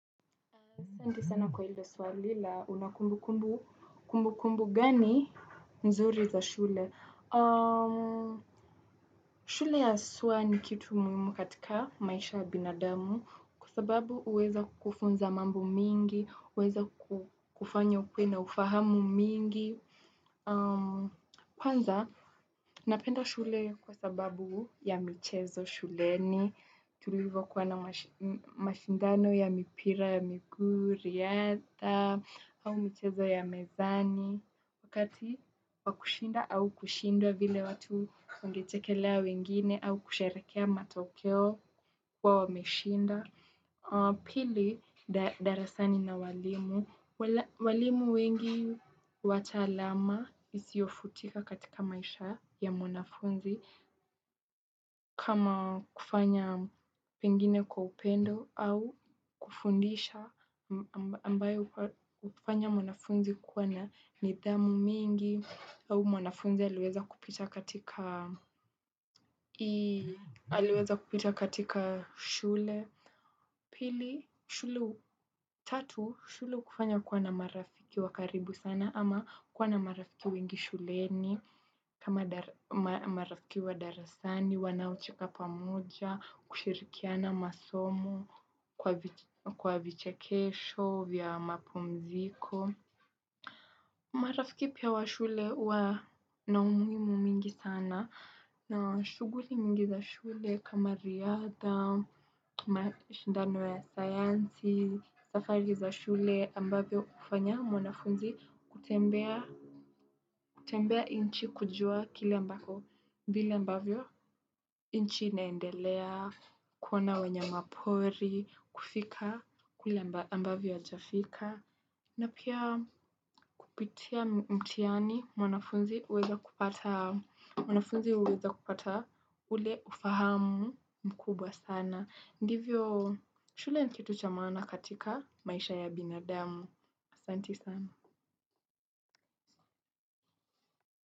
Asente sana kwa hilo swali la unakumbukumbu kumbukumbu gani mzuri za shule. Shule ya haswa ni kitu muhimu katika maisha ya binadamu. Kwa sababu huweza kufunza mambo mingi, huweza kufanya ukuwe na ufahamu mingi. Kwanza, napenda shule kwa sababu ya michezo shuleni tulivyo kuwa na mashindano ya mipira ya miguu ridha. Au mizecho ya mizani kati ya kushinda au kishindwa vile watunwangechekelea wengine au kusheherekea matoke kuwa wameshinda. Pili, darasani na walimu. Walimu wengi wata alama isiofutika katika maisha ya mwanafunzi kama kufanya pengine kwa upendo au kufundisha ambayo hufanya mwanafunzi kuwa na nidhamu mingi au mwanafunzi aliweza kupita katika shule. Pili, shule tatu, shule hukufanya kuwa na marafiki wakaribu sana ama kuwa na marafiki wengi shuleni kama marafiki wa darasani, wanaocheka pamoja kushirikiana masomo kwa vichekesho vya mapumziko. Marafiki pia wa shule huwa na umuhimu mingi sana. Na shughuli mingi za shule kama riadha, kuma shindano ya sayansi, safari za shule ambavyo kufanya mwanafunzi kutembea kutembea nchi kujua kile mbako vile ambavyo nchi inaendelea, kuona wanyama pori, kufika kule ambavyo hajafika na pia kupitia mtihani mwanafunzi huweza kupata mwanafunzi huweza kupata ule ufahamu mkubwa sana. Ndivyo shule ni kitu cha maana katika maisha ya binadamu. Asanti sana.